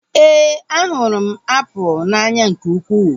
Éè, a hụrụ m apụl n'anya nke ukwuu